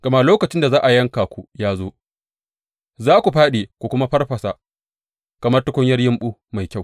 Gama lokacin da za a yanka ku ya zo; za ku fāɗi ku kuma farfasa kamar tukunyar yumɓu mai kyau.